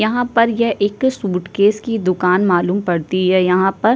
यहां पर यह एक सूटकेस की दुकान मालूम पड़ती है। यहां पर --